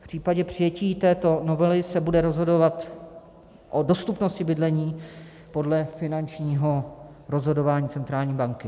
V případě přijetí této novely se bude rozhodovat o dostupnosti bydlení podle finančního rozhodování centrální banky.